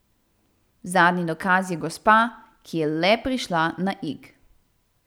Zadnji dokaz je gospa, ki je le prišla na Ig.